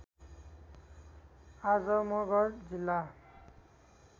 आजमगढ जिल्ला